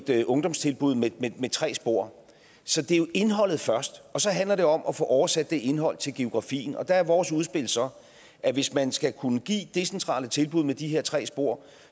et ungdomstilbud med tre spor så det er jo indholdet først og så handler det om at få oversat det indhold til geografien der er vores udspil så at hvis man skal kunne give decentrale tilbud med de her tre spor